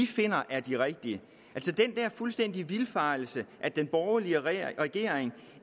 finder er de rigtige den der fuldstændige vildfarelse at den borgerlige regering regering